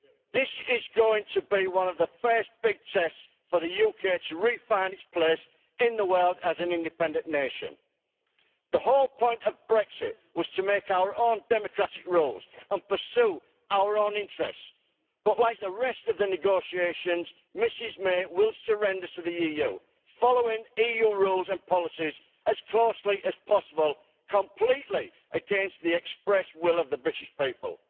This is going to be one of the first big tests for the UK to refind its place in the world as an independent nation. The whole point of Brexit was to make our own democratic rules and pursue our own interests, but like the rest of the negotiations, Ms May will surrender to the EU, following EU rules and policies as closely as possible, completely against the express will of the British people.